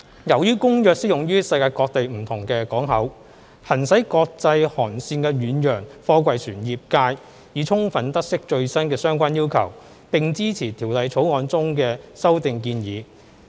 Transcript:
由於《公約》適用於世界各地不同的港口，行駛國際航線的遠洋貨櫃船業界已充分得悉最新的相關要求，並支持《條例草案》中的修訂建議。